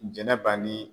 Jɛnɛba ni